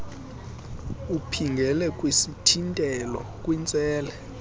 uphingele kwisithintelo kwintsele